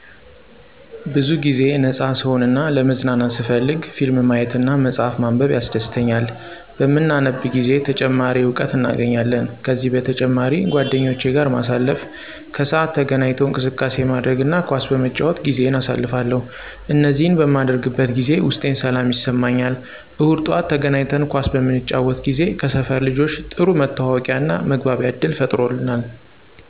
ብዙ ጊዜ ነፃ ስሆን እና ለመዝናናት ስፈልግ ፊልም ማየት እና መፅሐፍ ማንበብ ያስደሥተኛል። በምናነብ ጊዜ ተጨማሪ እውቀት እናገኛለን። ከዚህ በተጨማሪ ጓደኞቼ ጋር ማሳለፍ፣ ከሰዓት ተገናኝቶ እንቅስቃሴ ማድረግ እና ኳስ በመጫወት ጊዜየን አሳልፋለሁ። እነዚህን በማደርግበት ጊዜ ውስጤን ሰላም ይሰማኛል። እሁድ ጠዋት ተገናኝተን ኳስ በምንጫወት ጊዜ ከሰፈር ልጆች ጥሩ መተዋወቂያና መግባቢያ ዕድል ፈጥሮልናል።